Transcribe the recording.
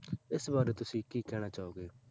ਇਸ ਬਾਰੇ ਤੁਸੀਂ ਕੀ ਕਹਿਣਾ ਚਾਹੋਗੇ?